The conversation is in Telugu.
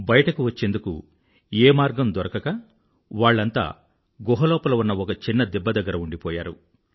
బయటకు వచ్చేందుకు ఏ మార్గం దొరకక వాళ్ళంతా గుహ లోపల ఉన్న ఒక చిన్న దిబ్బ దగ్గర ఉండిపోయారు